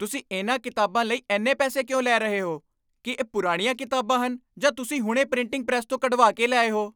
ਤੁਸੀਂ ਇਨ੍ਹਾਂ ਕਿਤਾਬਾਂ ਲਈ ਇੰਨੇ ਪੈਸੇ ਕਿਉਂ ਲੈ ਰਹੇ ਹੋ? ਕੀ ਇਹ ਪੁਰਾਣੀਆਂ ਕਿਤਾਬਾਂ ਹਨ ਜਾਂ ਤੁਸੀਂ ਹੁਣੇ ਪ੍ਰਿੰਟਿੰਗ ਪ੍ਰੈੱਸ ਤੋਂ ਕਢਵਾ ਕੇ ਲਿਆਏ ਹੋ?